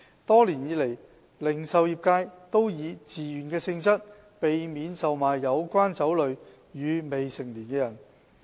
多年以來，零售業界都以自願方式，避免售賣有關酒類予未成年人。